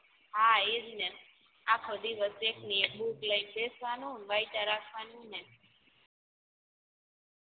હા એજ ને આખો દિવસ એક ન એક બૂક લઈને બેસી રેવાનું ને વાઇચા રાખવાનું ને